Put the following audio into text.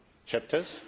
chapters.